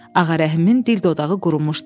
Ağarəhmin dil-dodağı qurumuşdu.